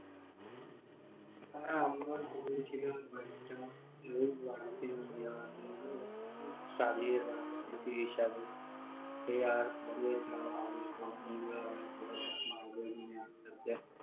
হ্যাঁ আমরাও কুড়িয়েছিলাম কয়েকটা, কয়েকজন বন্ধু সাজিয়ে রাখার জন্য স্মৃতি হিসাবে সেই আর কবে যাওয়া হবে সব বন্ধুরা আবার সমুদ্রে